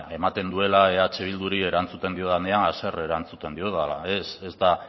ematen duela eh bilduri erantzuten diodanean haserre erantzuten diodala ez ez da